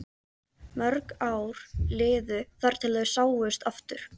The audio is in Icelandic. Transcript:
Mörg ár liðu þar til þau sáust aftur.